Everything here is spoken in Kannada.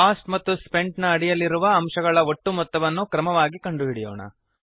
ಕೋಸ್ಟ್ ಮತ್ತು ಸ್ಪೆಂಟ್ ನ ಅಡಿಯಲ್ಲಿರುವ ಅಂಶಗಳ ಒಟ್ಟು ಮೊತ್ತವನ್ನು ಕ್ರಮವಾಗಿ ಕಂಡು ಹಿಡಿಯೋಣ